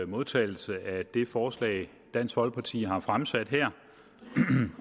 modtagelse af det forslag dansk folkeparti har fremsat her